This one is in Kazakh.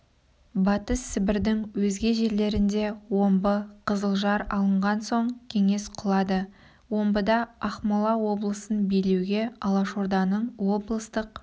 батыс сібірдің өзге жерлерінде омбы қызылжар алынған соң кеңес құлады омбыда ақмола облысын билеуге алашорданың облыстық